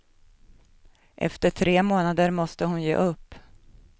Efter tre månader måste hon ge upp.